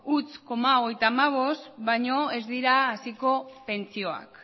zero koma hogeita hamabost baino ez dira haziko pentsioak